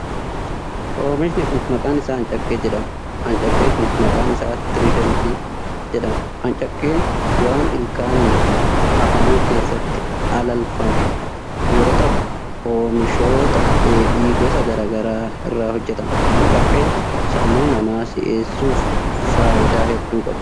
Oomishni kun maqaan isaa ancakkee jedhama. Ancakkee kun maqaan isaa Tiriidant jedhama. Ancakkeen waan ilkaanin afaan keessatti alalfamu yoo ta'u, oomishoota dheedhii gosa garaa garaa irraa hojjatama. Ancakkeen sammuu namaa si'eessuuf faayidaa hedduu qaba.